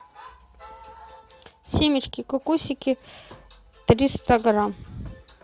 семечки кукусики триста грамм